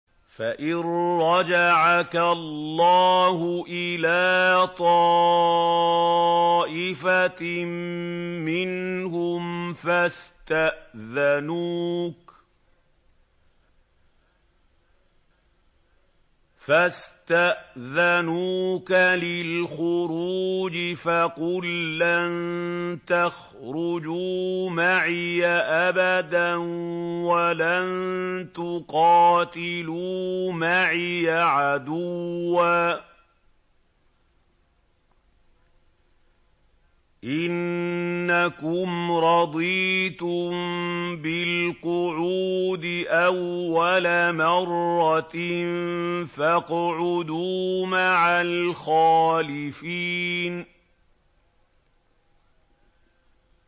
فَإِن رَّجَعَكَ اللَّهُ إِلَىٰ طَائِفَةٍ مِّنْهُمْ فَاسْتَأْذَنُوكَ لِلْخُرُوجِ فَقُل لَّن تَخْرُجُوا مَعِيَ أَبَدًا وَلَن تُقَاتِلُوا مَعِيَ عَدُوًّا ۖ إِنَّكُمْ رَضِيتُم بِالْقُعُودِ أَوَّلَ مَرَّةٍ فَاقْعُدُوا مَعَ الْخَالِفِينَ